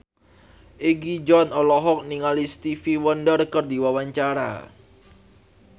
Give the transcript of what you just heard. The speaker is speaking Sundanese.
Egi John olohok ningali Stevie Wonder keur diwawancara